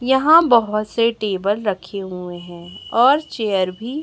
यहां बहोत से टेबल रखे हुए है और चेयर भी--